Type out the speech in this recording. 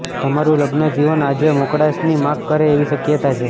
તમારૂં લગ્નજીવન આજે મોકળાશની માગ કરે એવી શક્યતા છે